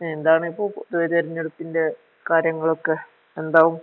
ന്താണിപ്പോ പൊതുവെ തെരഞ്ഞെടുപ്പിൻ്റെ കാര്യങ്ങളൊക്കെ ന്താവും ?